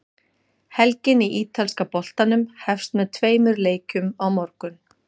Helgin í ítalska boltanum hefst með tveimur leikjum á morgun.